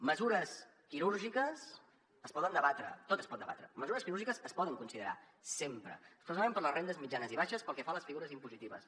mesures quirúrgiques es poden debatre tot es pot debatre mesures quirúrgiques es poden considerar sempre especialment per a les rendes mitjanes i baixes pel que fa a les figures impositives